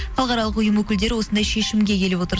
халықаралық ұйым өкілдері осындай шешімге келіп отыр